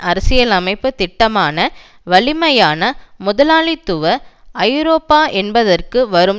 அரசியலைப்பு திட்டமான வலிமையான முதலாளித்துவ ஐரோப்பா என்பதற்கு வரும்